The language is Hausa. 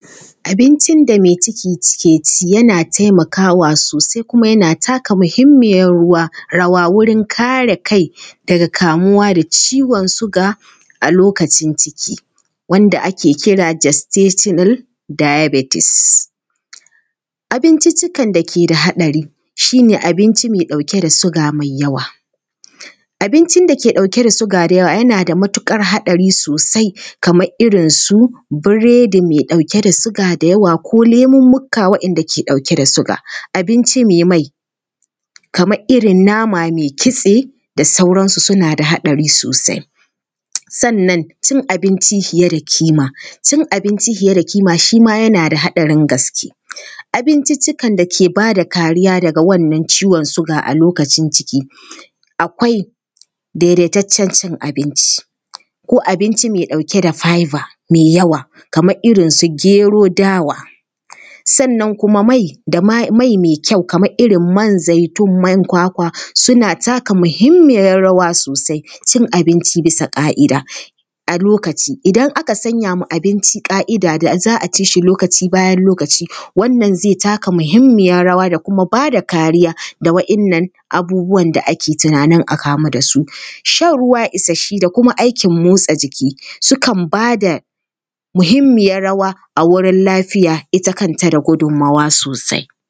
Abincin da mai ciki take ci yana taimakawa sosai kuma yana taka muhimmiyar rawa wurin kare kai daga kamuwa da ciwon suga a lokacin ciki wanda ake kira ‘gestational diabetis’. Abinciccikan da ke da haɗari shi ne abincin da ke ɗauke da suga mai yawa. Abincin da ke ɗauke da suga da yawa, yana da matuƙar haɗari sosai kamar irin su biredi mai ɗauke da suga da yawa ko lemummuka waɗanda ke ɗauke da suga. Abinci mai mai, kamar irin nama mai kitse da sauransu suna da haɗari sosai. Sannan cin abinci fiye da kima, cin abinci fiye da kima shi ma yana da haɗarin gaske. Abinciccikan da ke ba da kariya daga wannan ciwon suga a lokacin ciki akwai: daidaitaccen abinci ko abinci mai ɗauke da fibre mai yawa, kamar irin su gero, dawa. Sannan kuma mai… mai kyau kamar irin man zaitun, man kwakwa suna taka muhimmiyar rawa sosai. Cin abinci bisa ƙa’ida a okaci: idan aka sanya ma abinci ƙa’ida da za a ci shi lokaci bayan lokaci, wannan zai taka muhimmiyar rawa da kuma ba da kariya da waɗannan abubuwan da ake tunanin a kamu da su. Shan ruwa isasshe da kuma aikin motsa jiki, sukan ba da muhimmiyar rawa a wurin lafiya ita kanta da gudunmuwa sosai.